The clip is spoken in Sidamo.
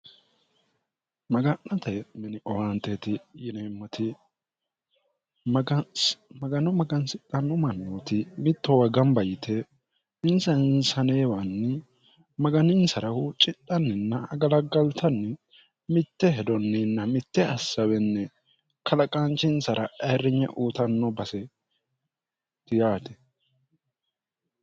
maga'nate mini owaanteti yineemmoti magano magansidhanno mannooti mittoowa gamba yite insa insaneewanni maganinsara huuccidhanninna agalaggaltanni mitte hedonninna mitte assawenni kalaqaanchinsara ayirrinye uutanno base tiyaati